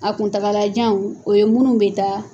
A kuntagalajan o ye minnu bɛ taa